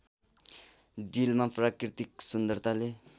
डिलमा प्राकृतिक सुन्दरताले